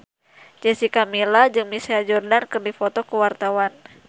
Jessica Milla jeung Michael Jordan keur dipoto ku wartawan